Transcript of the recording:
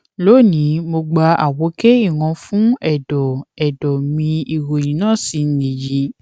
loni mo gba àwòké ìran x fún ẹdọ ẹdọ mi ìròyìn náà sì nìyí